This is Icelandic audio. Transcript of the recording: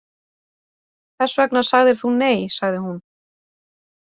Þess vegna sagðir þú nei, sagði hún.